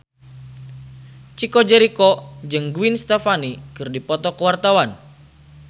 Chico Jericho jeung Gwen Stefani keur dipoto ku wartawan